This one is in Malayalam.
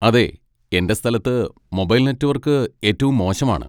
അതെ, എന്റെ സ്ഥലത്ത് മൊബൈൽ നെറ്റ്‌വർക്ക് ഏറ്റവും മോശമാണ്.